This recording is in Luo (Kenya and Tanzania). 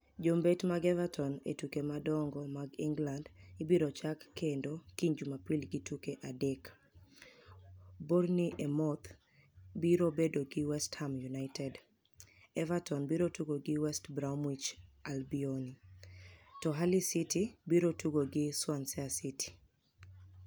Jombet mag Evertoni e tuke madonigo mag Eniglanid ibiro chak kenido kiniy Jumapil gi tuke adek. Bourni emouth biro bedo gi West Ham Uniited. Evertoni biro tugo gi West Bromwich Albioni, to Hully city biro tugo gi Swanisea city.